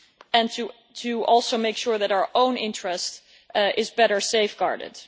and also to make sure that our own interest is better safeguarded.